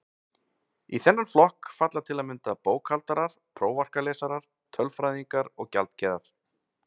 Í þennan flokk falla til að mynda bókhaldarar, prófarkalesarar, tölfræðingar og gjaldkerar.